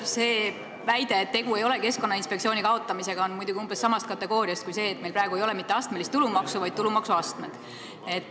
See väide, et tegu ei ole Keskkonnainspektsiooni kaotamisega, on muidugi umbes samast kategooriast kui see, et meil praegu ei ole mitte astmelist tulumaksu, vaid on tulumaksuastmed.